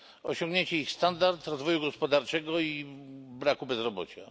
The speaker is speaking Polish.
Osiągniecie ich standard rozwoju gospodarczego i braku bezrobocia.